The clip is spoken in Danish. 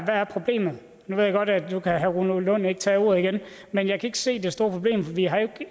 er problemet nu ved jeg godt at herre rune lund ikke kan tage ordet igen men jeg kan ikke se det store problem for vi har jo